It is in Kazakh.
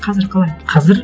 қазір қалай қазір